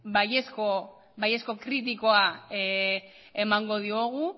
baiezko kritikoa emango diogu